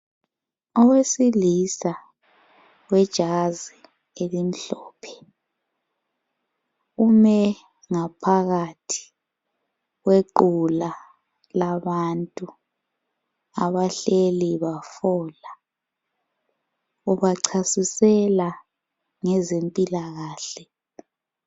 Owesilisa wejazi elimhlophe umengaphakathi kwequla labantu abahleli bahlola. Ubachasisela ngezempilakahle.